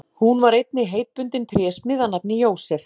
Hún var einnig heitbundin trésmið að nafni Jósef.